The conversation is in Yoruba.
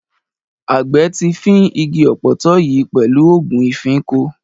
Àgbẹ̀ ti fín igi ọ̀pọ̀tọ́ yìí pẹ̀lú ògùn ìfínko.